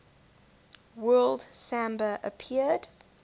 word samba appeared